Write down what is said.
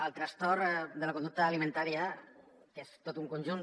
el trastorn de la conducta alimentària que és tot un conjunt